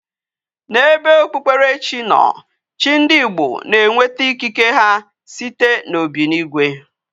Na ebe okpukpere chi no, chi ndi Igbo na enweta ikike ha site na obinigwe